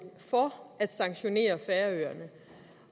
for at sanktionere færøerne